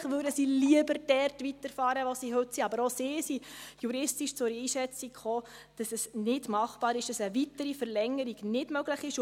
Natürlich würden sie lieber dort weitermachen, wo sie heute sind, aber auch sie sind juristisch zur Einschätzung gekommen, dass es nicht machbar ist und dass eine weitere Verlängerung nicht möglich ist.